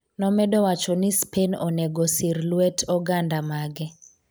nomedo wacho ni Spain onego osir lwet oganda mage